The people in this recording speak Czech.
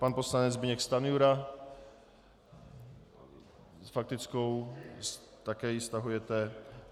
Pan poslanec Zbyněk Stanjura s faktickou - také ji stahujete.